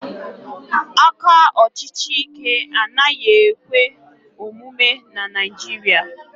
aka ọchịchị Ike anaghị ekwe omume na Naijiria